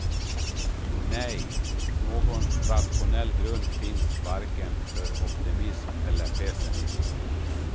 Nej, någon rationell grund finns varken för optimism eller pessimism.